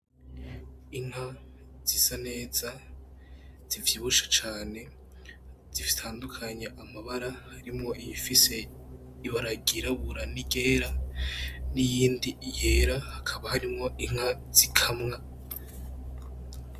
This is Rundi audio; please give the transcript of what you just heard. Inka zisa neza, zivyibushe cane, zitandukanye amabara, harimwo iyifise ibara ryirabura n'iryera niyindi yera hakaba harimwo inka zikamwa.